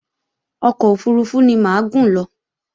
Ọkọ̀ òfurufú ni mà á gùn lọ